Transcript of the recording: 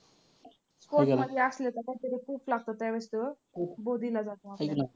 Court मध्ये असले तर